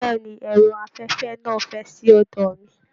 Bẹ̀ẹ́ni, ẹrọ afẹfẹ náà n fẹ sí ọdọ mí.